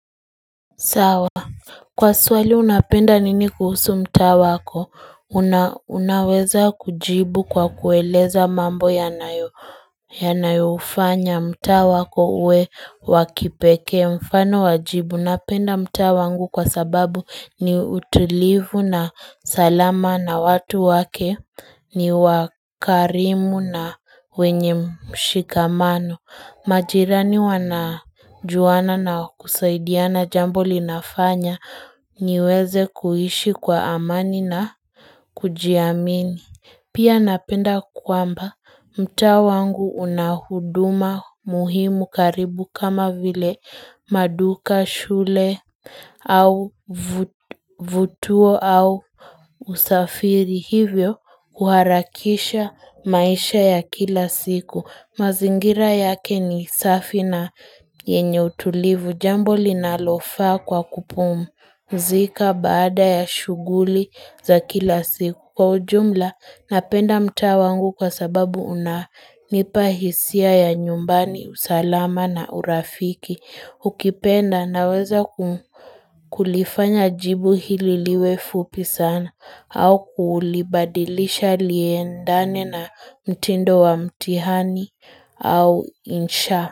Sawa kwa swali unapenda nini kuhusu mtaa wako, una unaweza kujibu kwa kueleza mambo yanayo yanayo ufanya mtaa wako uwe wakipekee mfano wajibu unapenda mtaa wangu kwa sababu ni utulivu na salama na watu wake ni wakarimu na wenye mshikamano, Majirani wanajuana na kusaidiana jambo linafanya niweze kuishi kwa amani na kujiamini. Pia napenda kwamba mtaa wangu una huduma muhimu karibu kama vile maduka, shule au vituo au usafiri. Hivyo uharakisha maisha ya kila siku, mazingira yake ni safi na yenye utulivu jambo linalofaa kwa kupumzika baada ya shuguli za kila siku kwa ujumla napenda mtaa wangu kwa sababu una nipa hisia ya nyumbani, usalama na urafiki, ukipenda naweza kulifanya jibu hili liwe fupi sana au kulibadilisha liendane na mtindo wa mtihani au insha.